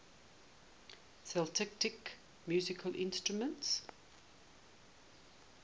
celtic musical instruments